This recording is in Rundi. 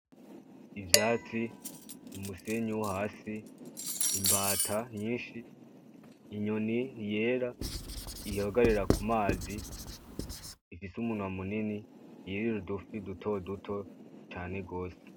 Ivyatsi, umusenyi wo hasi, imbata nyinshi, inyoni yera ihagarara ku mazi ifise umunwa munini yirira udufi dutoduto cane gose.